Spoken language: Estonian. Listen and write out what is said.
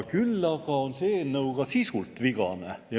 Küll aga on see eelnõu ka sisult vigane.